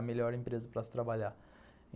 A melhor empresa para se trabalhar.